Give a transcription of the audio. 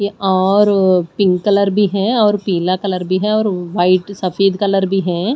और अ pink colour भी है और पीला कलर भी है और वाइट सफेद कलर भी है।